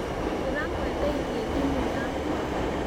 Ndĩramwendeirie thimũ yakwa.